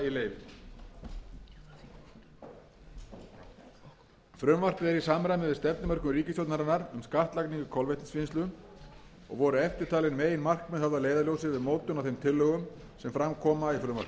samræmi við stefnumörkun ríkisstjórnarinnar um skattlagningu kolvetnisvinnslu og voru eftirtalin meginmarkmið höfð að leiðarljósi við mótun á þeim tillögum sem fram koma í frumvarpinu